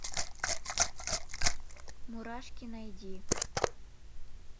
мурашки найди